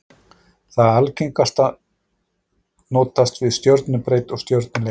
Það algengasta notast við stjörnubreidd og stjörnulengd.